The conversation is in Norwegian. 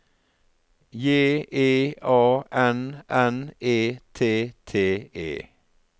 J E A N N E T T E